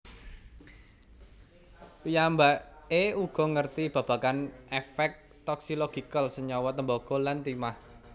Piyambaké uga ngerti babagan efek toxilogical senyawa tembaga lan timah